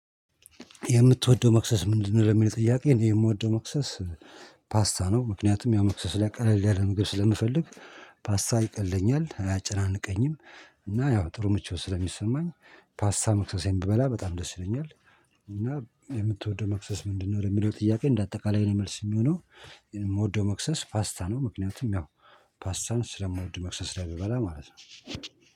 የምትወደው መክሰስ ምንድነው? የሚለው ጥያቄ የምወደው መክሰስ ፓስታ ነው ምክንያቱም ያው መክሰስ ላይ ቀለል ያለ ምግብ ስለምፈልግ ፓስታ ይቀልኛል አያጨናንቀኝም። እና ያው ጥሩ ምቾት ስለሚሰማኝ ፓስታ መክሰሴን ብበላ በጣም ደስ ይለኛል። እና የምትወደው መክሰስ ምንድነው? ለሚለው ጥያቄ እንደ አጠቃላይ ነው መልስ የሚሆነው። የምወደው መክሰስ ፓስታ ነው። ምክንያቱም ያው ፓስታን ስለምወድ መክሰስ ላይ ብበላ ማለት ነው